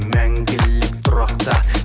мәңгілік тұрақта